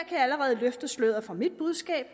jeg allerede løfte sløret for mit budskab